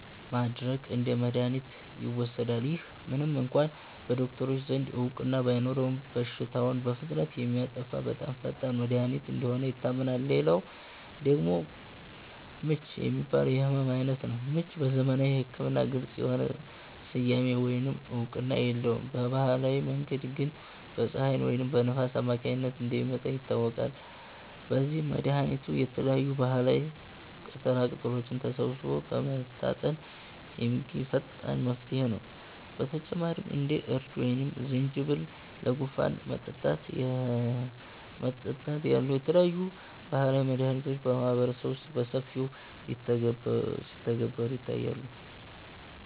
ማድረቅ እንደ መድኃኒት ይወሰዳል። ይህ ምንም እንኳ በዶክተሮች ዘንድ እውቅና ባይኖረውም፣ በሽታውን በፍጥነት የሚያጠፋ በጣም ፈጣን መድኃኒት እንደሆነ ይታመናል። ሌላው ደግሞ 'ምች' የሚባለው የሕመም ዓይነት ነው። ምች በዘመናዊ ሕክምና ግልጽ የሆነ ስያሜ ወይም እውቅና የለውም፤ በባህላዊ መንገድ ግን በፀሐይ ወይም በንፋስ አማካኝነት እንደሚመጣ ይታወቃል። ለዚህም መድኃኒቱ የተለያዩ ባህላዊ ቅጠላቅጠሎችን ሰብስቦ በመታጠን የሚገኝ ፈጣን መፍትሄ ነው። በተጨማሪም እንደ እርድ ወይም ዝንጅብል ለጉንፋን መጠጣት ያሉ የተለያዩ ባህላዊ መድኃኒቶች በማህበረሰቡ ውስጥ በሰፊው ሲተገበሩ ይታያሉ